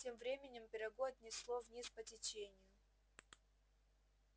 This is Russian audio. тем временем пирогу отнесло вниз по течению